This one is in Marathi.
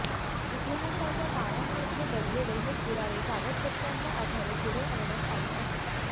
इतिहासाच्या पानांमध्ये दडलेले हे पुरावे कागदपत्रांच्या आधारे पुढे आणण्यात आले आहेत